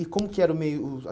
E como que era o meio? O